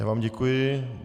Já vám děkuji.